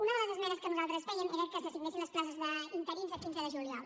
una de les esmenes que nosaltres fèiem era que s’assignessin les places d’interins el quinze de juliol